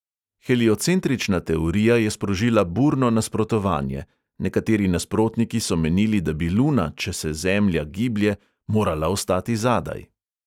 Heliocentrična teorija je sprožila burno nasprotovanje; nekateri nasprotniki so menili, da bi luna, če se zemlja giblje, morala ostati zadaj.